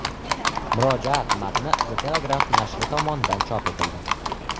Murojaat matni The Telegraph nashri tomonidan chop etildi .